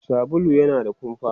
sabulu yana da kumfa